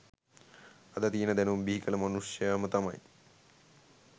අද තියෙන දැනුම බිහිකල මනුෂ්‍යයම තමයි